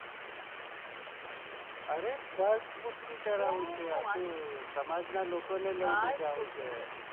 અરે bus booking કરવાનું છે સમાજ ના લોકોને લઇ જવાનું છે.